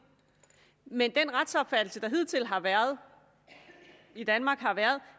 men den retsopfattelse der hidtil har været i danmark har været